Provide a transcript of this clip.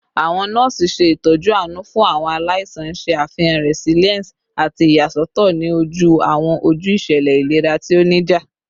Awọn nọọsi ṣe itọju aanu fun awọn alaisan, n ṣe afihan resilience ati iyasọtọ ni oju awọn oju iṣẹlẹ ilera ti o nija